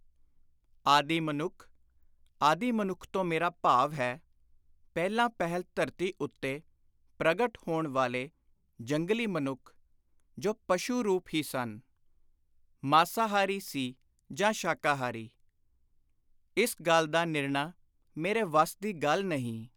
ਆਦਿ ਮਨੁੱਖ' ( ਆਦਿ ਮਨੁੱਖ ਤੋਂ ਮੇਰਾ ਭਾਵ ਹੈ, ਪਹਿਲਾਂ ਪਹਿਲ ਧਰਤੀ ਉੱਤੇ ਪ੍ਰਗਟ ਹੋਣ ਵਾਲੇ ਜੰਗਲੀ ਮਨੁੱਖ ਜੋ ਪਸ਼ੂ-ਰੂਪ ਹੀ ਸਨ।) ਮਾਸਾਹਾਰੀ ਸੀ ਜਾਂ ਸ਼ਾਕਾਹਾਰੀ, ਇਸ ਗੱਲ ਦਾ ਨਿਰਣਾ ਮੇਰੇ ਵੱਸ ਦੀ ਗੱਲ ਨਹੀਂ।